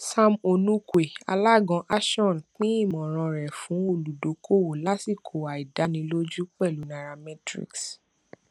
sam onukwue alága ashon pín ìmọràn rẹ fún olùdókòówò lásìkò àìdánilójú pẹlú nairametrics